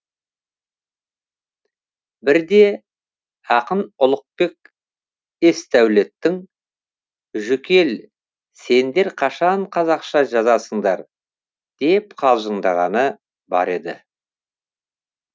бірде ақын ұлықбек есдәулеттің жүкел сендер қашан қазақша жазасыңдар деп қалжыңдағаны бар еді